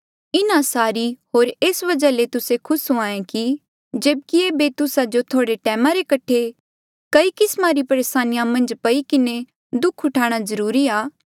इन्हा सारी होर एस वजहा ले तुस्से खुस हुंहां ऐें जेब्की एेबे तुस्सा जो थोह्ड़े टैमा रे कठे कई किस्मा री परेसानिया मन्झ पई किन्हें दुःख उठाणा जरूरी आ